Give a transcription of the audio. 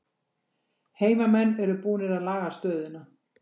Heimamenn eru búnir að laga stöðuna